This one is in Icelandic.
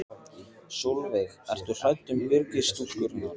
Sólveig: Ertu hrædd um Byrgis-stúlkurnar?